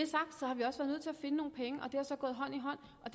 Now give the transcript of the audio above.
har så gået hånd i hånd og